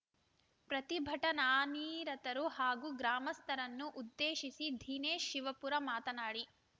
ಪ್ರತಿಭಟನಾನಿರತರು ಹಾಗೂ ಗ್ರಾಮಸ್ಥರನ್ನು ಉದ್ದೇಶಿಸಿ ದಿನೇಶ್‌ ಶಿವಪುರ ಮಾತನಾಡಿ